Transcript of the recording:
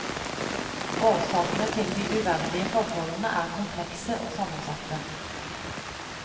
Årsakene til de uverdige forholdene er komplekse og sammensatte.